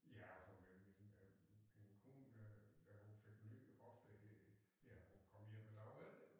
Ja og for min øh min kone øh da hun fik ny hofte ja hun kom hjem en dag efter jo